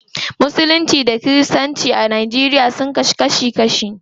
Musulunci da kiristanci a nigeria sun rabu kashi kashi.